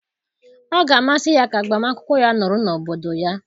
Ọ ga-amasị ya ka agbamakwụkwọ ya nọrọ n'obodo ya.